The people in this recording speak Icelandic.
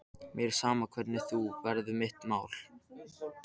Mér er sama hvernig þú verð mitt mál.